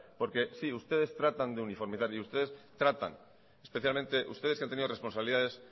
porque sí ustedes tratan de uniformizar y ustedes tratan especialmente ustedes que han tenido responsabilidades